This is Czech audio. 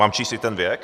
Mám číst i ten věk?